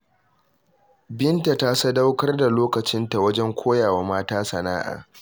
Binta ta sadaukar da lokacinta wajen koya wa mata sana’a.